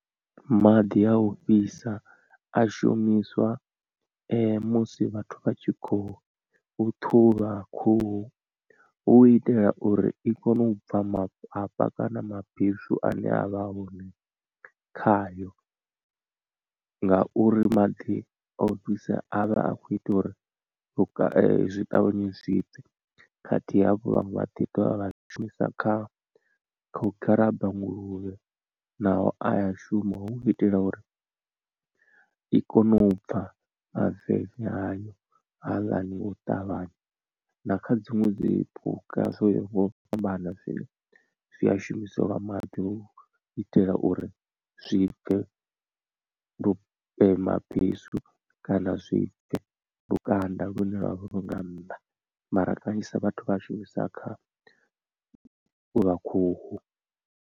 Maḓi a u fhisa a shumiswa musi vhathu vha tshi khou ṱhuvha khuhu hu u itela uri i kone u bva mafhafha kana mabesu ane avha a hone khayo. Ngauri maḓi o fhisa a vha a khou ita uri zwi ṱavhanye zwibve khathihi hafho vhaṅwe vha ḓi dovha vha zwi shumisa kha u garaba nguluvhe naho a ya shuma hu itela uri i kone u pfha maveve ayo haaḽani o u ṱavhanya na kha dziṅwe dzi phukha zwo ya ho ngo fhambana zwine zwi a shumiselwa maḓi u itela uri zwi bve lu mabesu kana zwi bve lukanda lune lwavha lu nga nnḓa mara kanzhisa vhathu vha a shumisa kha u ṱhuvha khuhu.